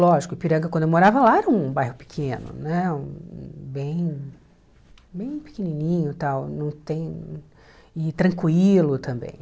Lógico, o Ipiranga, quando eu morava lá, era um bairro pequeno, né bem bem pequenininho tal não tem e tranquilo também.